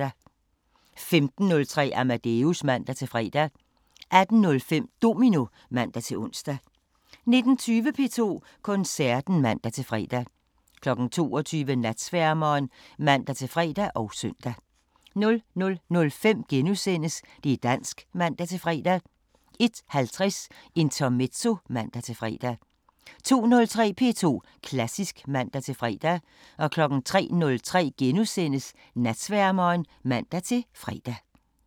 15:03: Amadeus (man-fre) 18:05: Domino (man-ons) 19:20: P2 Koncerten (man-fre) 22:00: Natsværmeren (man-fre og søn) 00:05: Det' dansk *(man-fre) 01:50: Intermezzo (man-fre) 02:03: P2 Klassisk (man-fre) 03:03: Natsværmeren *(man-fre)